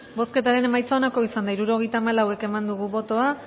bozketaren emaitza onako izan da hirurogeita hamalau eman dugu bozka